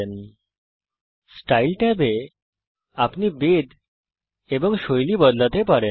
শৈলী স্টাইল ট্যাবে আপনি বেধ পরিবর্তন করতে পারেন এবং আপনি শৈলী পরিবর্তন করতে পারেন